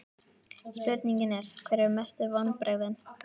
Spurningin er: Hver eru mestu vonbrigðin?